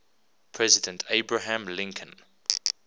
president abraham lincoln